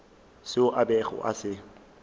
seo a bego a se